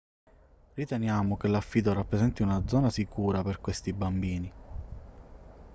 riteniamo che l'affido rappresenti una zona sicura per questi bambini